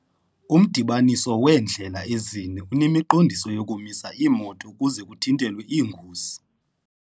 Umdibaniso weendlela ezine unemiqondiso yokumisa iimoto ukuze kuthintelwe iingozi.